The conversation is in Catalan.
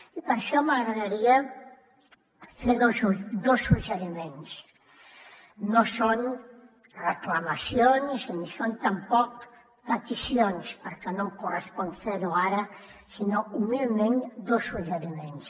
i per això m’agradaria fer dos suggeriments no són reclamacions ni són tampoc peticions perquè no em correspon fer ho ara sinó humilment dos suggeriments